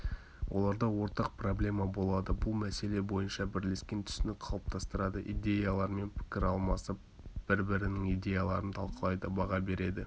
оларда ортақ проблема болады бұл мәселе бойынша бірлескен түсінік қалыптастырады идеялармен пікір алмасып бір-бірінің идеяларын талқылайды баға береді